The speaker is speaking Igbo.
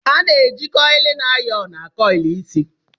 A na-eji kọylịn ayọnu akọyịlụ isi